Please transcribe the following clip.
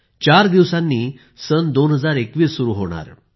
चार दिवसांनी 2021 सुरू होणार आहे